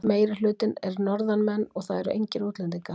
Meirihlutinn eru Norðanmenn og það eru engir útlendingar.